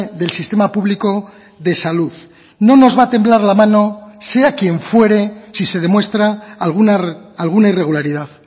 del sistema público de salud no nos va a temblar la mano sea quien fuere si se demuestra alguna irregularidad